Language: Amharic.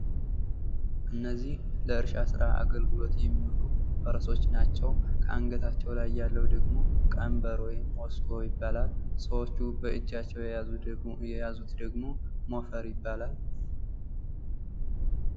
እነዚህ ለእርሻ ስራ የሚውሉ ፈረሶች ናቸው። ከአንገታቸው ላይ ያለው ደግሞ ቀንበር ወይም ሞስኮ ይባላል። ሰዎቹ በእጃቸው የያዙት ደግሞ ሞፈር ይባላል።